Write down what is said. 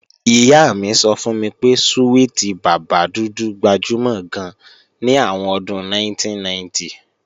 Ìyá mi sọ fún mi pé súwìtì bàbá dúdú gbajúmọ̀ gan ní àwọn ọdún 1990